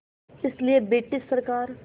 इसलिए ब्रिटिश सरकार